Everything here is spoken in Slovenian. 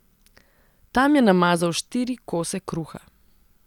Tam je namazal štiri kose kruha.